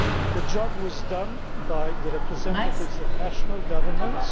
The job was done by the representatives of national governments.